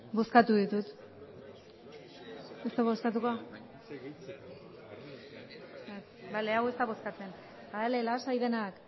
bozkatu ditu ez du bozkatuko bale hau ez da bozkatzen bale lasai denak